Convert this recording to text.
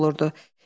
olurdu.